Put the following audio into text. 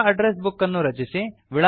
ಹೊಸ address book ಅನ್ನು ರಚಿಸಿ